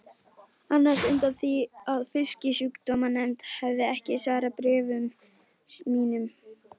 annars undan því að Fisksjúkdómanefnd hefði ekki svarað bréfum mínum.